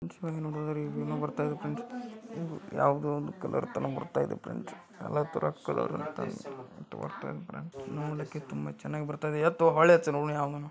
ಚಿತ್ರದಲ್ಲಿ ನೋಡೋದಾದ್ರೆ ಏನೋ ಬರ್ತಾ ಇದೆ ಫ್ರೆಂಡ್ಸ್ ಯಾವುದೋ ಒಂದು ಕಲರ್ ತರ ಬರ್ತಾ ಇದೆ ಫ್ರೆಂಡ್ಸ್ . ಎಲ್ಲಾ ತರ ಕಲರ್ ಬರ್ತಾ ಇದೆ ಫ್ರೆಂಡ್ಸ್ . ನೋಡೋಕೆ ತುಂಬಾ ಚೆನ್ನಾಗಿ ಬರ್ತಾ ಇದೆ.